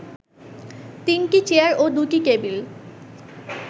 তিনটি চেয়ার ও দু’টি টেবিল